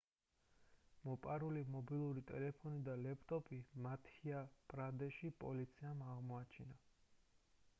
მოპარული მობილური ტელეფონი და ლეპტოპი მადჰია პრადეშის პოლიციამ აღმოაჩინა